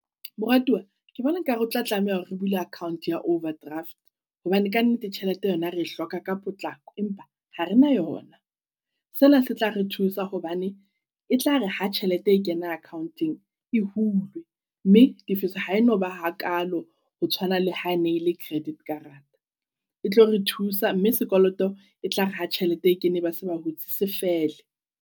Moratuwa ke bona nka re ho tla tlameha hore re bula account ya overdraft. Hobane kannete tjhelete yona re hloka ka potlako, empa ha re na yona. Sena se tla re thusa hobane e tla re ha tjhelete e kena account-ong e hulwe. Mme tifiso ha enoba ha kalo ho tshwana le ha e ne le credit karata. E tlo re thusa mme sekoloto e tla re ha tjhelete e kene ba se ba hutse se fele.